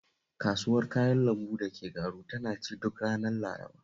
Kasuwar Kayan lambu ta Garu taba ci duk ranar Laraba